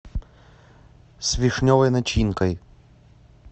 с вишневой начинкой